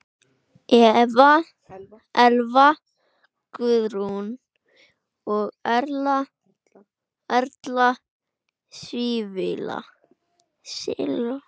Elva Guðrún og Erla Sylvía.